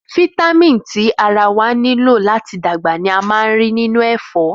Fítámìn tí ara wá nílò láti dàgbà ni a máa ń rí nínú ẹ̀fọ́